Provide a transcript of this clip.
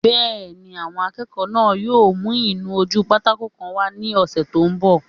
Bẹ́ẹ̀ni, àwọn akẹ́kọ̀ọ́ náà yóò mú ìnu-ojúpátákó kan wá ní ọsẹ́ tó n bọ̀